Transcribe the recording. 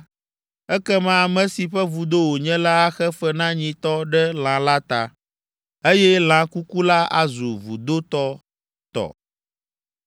ekema ame si ƒe vudo wònye la axe fe na nyitɔ ɖe lã la ta, eye lã kuku la azu vudotɔ tɔ.